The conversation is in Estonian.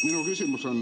Minu küsimus on ...